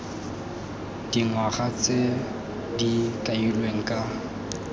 dingwaga tse di kailweng ka